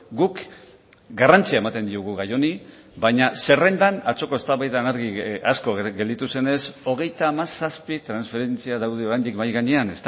guk garrantzia ematen diogu gai honi baina zerrendan atzoko eztabaidan argi asko gelditu zenez hogeita hamazazpi transferentzia daude oraindik mahai gainean